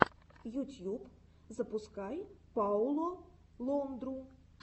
ютьюб запускай пауло лондру